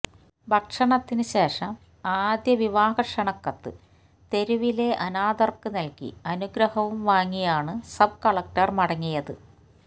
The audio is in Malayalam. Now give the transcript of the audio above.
ഭക്ഷണത്തിന് ശേഷം ആദ്യ വിവാഹ ക്ഷണക്കത്ത് തെരുവിലെ അനാഥര്ക്ക് നല്കി അനുഗ്രഹവും വാങ്ങിയാണ് സബ്കളക്ടര് മടങ്ങിയത്